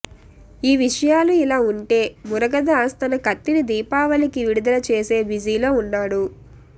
ఈ విషయాలు ఇలా ఉంటె మురగదాస్ తన కత్తి ని దీపావళికి విడుదల చేసే బిజీలో ఉన్నాడు